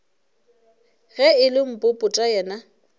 ge e le popota yena